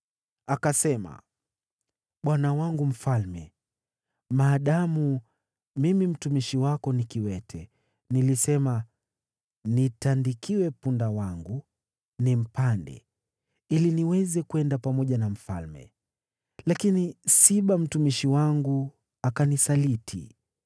Akasema, “Bwana wangu mfalme, maadamu mimi mtumishi wako ni kiwete, nilisema, ‘Nitandikiwe punda wangu, nimpande, ili niweze kwenda pamoja na mfalme.’ Lakini Siba mtumishi wangu akanisaliti.